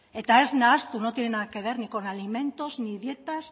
eta ez nahastu no tiene nada que ver ni con alimentos ni dietas